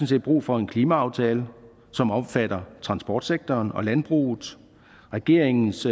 set brug for en klimaaftale som omfatter transportsektoren og landbruget regeringens